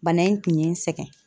Bana in kun ye n sɛgɛn.